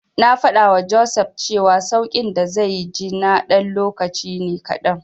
Na faɗawa Joseph cewa sauƙin da zai ji na ɗan lokaci ne kaɗan.